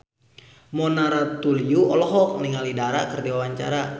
Mona Ratuliu olohok ningali Dara keur diwawancara